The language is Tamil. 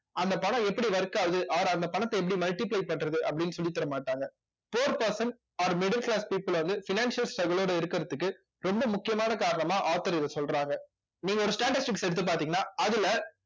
அந்த பணம் எப்படி work ஆகுது அவரு அந்த பணத்தை எப்படி multiply பண்றது அப்படின்னு சொல்லிதரமாட்டாங்க poor person or middle class people வந்து financial struggle ஓட இருக்கிறதுக்கு ரொம்ப முக்கியமான காரணமா author இதை சொல்றாங்க நீங்க ஒரு statistics எடுத்து பார்த்தீங்கன்னா அதுல